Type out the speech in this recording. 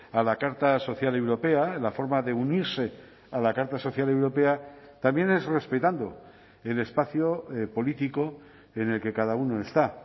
a la carta social europea la forma de unirse a la carta social europea también es respetando el espacio político en el que cada uno está